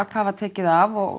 hvað var tekið af og